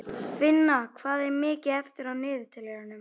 Finna, hvað er mikið eftir af niðurteljaranum?